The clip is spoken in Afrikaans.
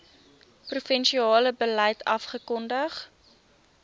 provinsiale beleid afgekondig